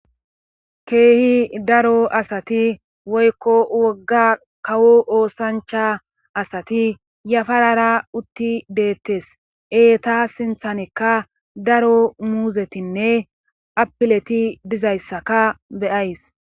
keehi daro asati woykko wogga kawo oosancha asati yafarara utti deettes eeta sinthanekka daro muuzetinne apileti dizayssaka beyays